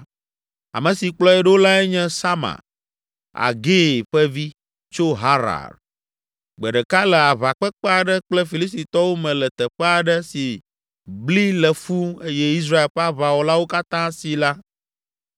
Ame si kplɔe ɖo lae nye Sama, Agee ƒe vi, tso Harar. Gbe ɖeka le aʋakpekpe aɖe kple Filistitɔwo me le teƒe aɖe si bli le fũu eye Israel ƒe aʋawɔlawo katã si la,